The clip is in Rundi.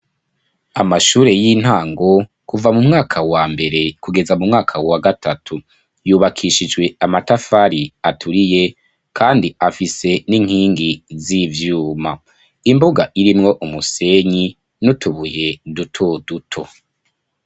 Amashure y'intango kuva mu mwaka wa mbere kugeza mu mwaka wa gatatu yubakishijwe amatafari aturiye kandi afise n'inkingi z'ivyuma, imbuga irimwo umusenyi n'utubuye duto duto.